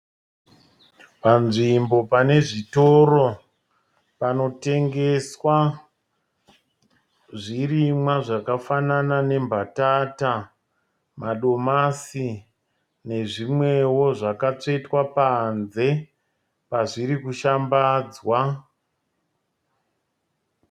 Panzvimbo pane zvitoro panotengeswa zvirimwa zvakafanana nembatata , madomasi nezvimwewo zvakatsvetwa panze pazviri kushambadzwa.